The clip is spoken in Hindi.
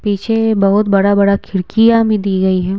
पीछे बहुत बड़ा-बड़ा खिड़कियां भी दी गई है।